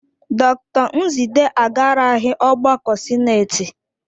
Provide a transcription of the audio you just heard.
Dr Nzidee agaraghị ọgbakọ sinetị.